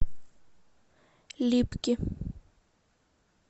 липки